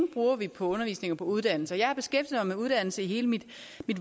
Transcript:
på undervisning og uddannelse jeg har beskæftiget mig med uddannelse hele mit